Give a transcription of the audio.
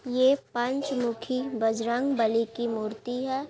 ये पंचमुखी बजरंबली की मूर्ति है।